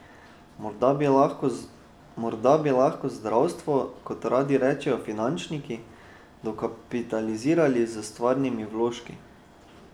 Morda bi lahko zdravstvo, kot radi rečejo finančniki, dokapitalizirali s stvarnimi vložki?